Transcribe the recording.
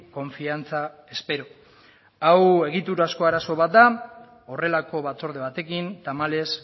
konfiantza espero hau egiturazko arazo bat da horrelako batzorde batekin tamalez